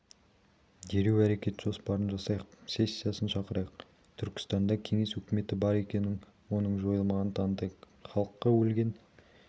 дереу әрекет жоспарын жасайық сессиясын шақырайық түркістанда кеңес өкіметі бар екенін оның жойылмағанын танытайық халыққа өлген